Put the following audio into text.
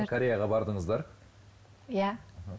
кореяға бардыңыздар иә